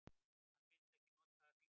Hann vill ekki nota mig.